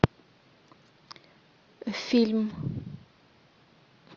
фильм